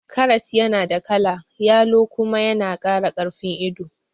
Karas yana da kala yalo kuma yana kara karfin ido